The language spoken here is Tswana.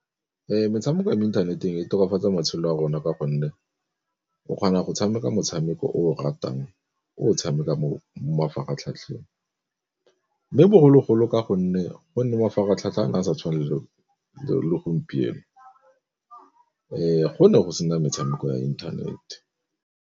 Metshameko ya mo inthaneteng e tokafatsa matshelo a rona ka gonne o kgona go tshameka motshameko o o ratang o tshameka mo mafaratlhatlheng, mme bogologolo ka gonne gonne mafaratlhatlha a sa tshwane le gompieno go ne go sena metshameko ya internet.